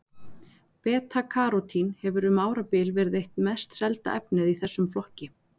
Beta-karótín hefur um árabil verið eitt mest selda efnið í þessum flokki.